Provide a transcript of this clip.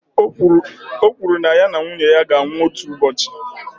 Ọ kwụrụ na ya na nwunye ya ga-anwụ otu ụbọchị.